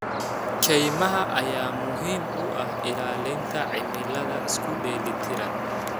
Kaymaha ayaa muhiim u ah ilaalinta cimilada isku dheeli tiran.